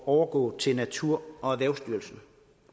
overgå til naturerhvervsstyrelsen